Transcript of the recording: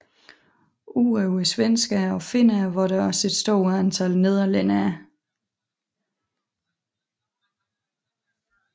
Udover svenskere og finner var der et stort antal nederlændere